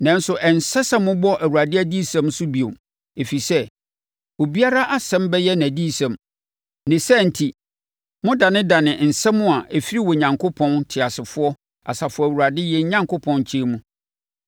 Nanso ɛnsɛ sɛ mobɔ ‘ Awurade adiyisɛm’ so bio; ɛfiri sɛ, obiara asɛm bɛyɛ nʼadiyisɛm, ne saa enti modanedane nsɛm a ɛfiri Onyankopɔn, Teasefoɔ, Asafo Awurade yɛn Onyankopɔn nkyɛn mu.